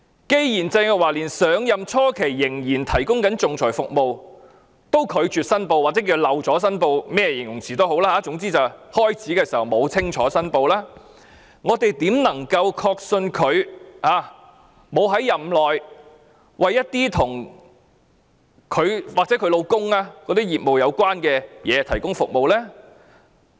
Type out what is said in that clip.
既然鄭若驊上任初期仍然提供仲裁服務又拒絕申報，或漏了申報，甚麼形容詞也好；既然她上任時沒有清楚申報，我們怎能確信她沒有在任內為一些與她本人或她丈夫的業務有關的事提供服務？